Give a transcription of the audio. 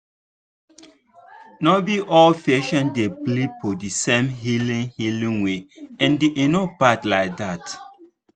no be all patients dey believe for the same healing healing way and e no bad like that.